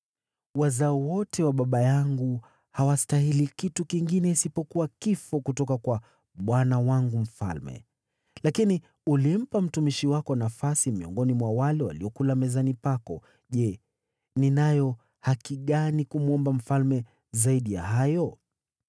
Wazao wote wa baba yangu hawastahili kitu kingine isipokuwa kifo kutoka kwa bwana wangu mfalme, lakini ulimpa mtumishi wako nafasi miongoni mwa wale waliokula mezani pako. Je, ninayo haki gani kumwomba mfalme zaidi ya hayo?”